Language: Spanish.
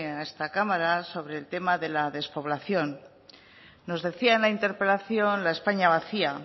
a esta cámara sobre el tema de la despoblación nos decía en la interpelación la españa vacía